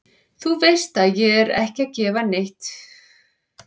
Þú veist ég er ekki að gefa eitt né neitt í skyn.